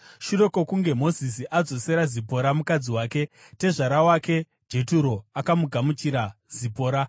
Shure kwokunge Mozisi adzosera Zipora mukadzi wake, tezvara wake Jeturo akagamuchira Zipora